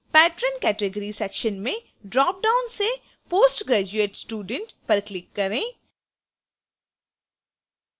patron category section में dropdown से post graduate student पर click करें